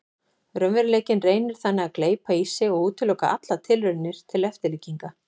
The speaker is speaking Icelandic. Raunveruleikinn reynir þannig að gleypa í sig og útiloka allar tilraunir til eftirlíkinga.